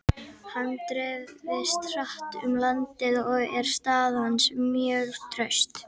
Hann dreifðist hratt um landið og er staða hans mjög traust.